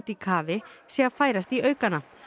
í kafi sé að færast í aukana